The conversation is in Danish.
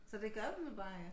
Så det gør man bare ikke